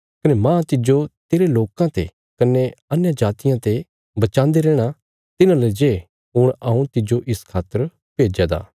कने माह तिज्जो तेरे लोकां ते कने अन्यजातियां ते बचांदे रैहणा तिन्हांले जे हुण हऊँ तिज्जो इस खातर भेज्या दा